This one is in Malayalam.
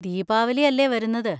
ദീപാവലി അല്ലേ വരുന്നത്.